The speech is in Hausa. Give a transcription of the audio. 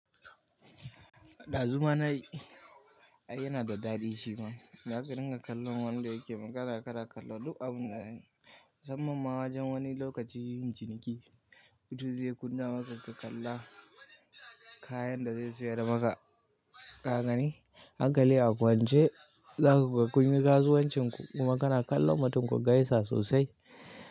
Ɗazu ma na yi, ai yana da daɗi shi ma. Za ka dinga kallon wanda yake magana, kana kalla duk abun da ya yi. Musamman ma wajen wani lokaci yin ciniki, mutum zai kunna maka ka kalla. Kayan da zai sayar maka. Kagani, hankali a kwance. Za ku ga kun yi kasuwancin ku kuma kana kallon matum ku gaisa sosai.